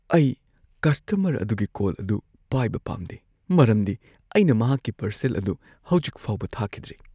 ꯑꯩ ꯀꯁꯇꯃꯔ ꯑꯗꯨꯒꯤ ꯀꯣꯜ ꯑꯗꯨ ꯄꯥꯏꯕ ꯄꯥꯝꯗꯦ ꯃꯔꯝꯗꯤ ꯑꯩꯅ ꯃꯍꯥꯛꯀꯤ ꯄꯥꯔꯁꯦꯜ ꯑꯗꯨ ꯍꯧꯖꯤꯛ ꯐꯥꯎꯕ ꯊꯥꯈꯤꯗ꯭ꯔꯤ ꯫